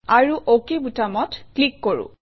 আৰু অক বুটামত ক্লিক কৰোঁ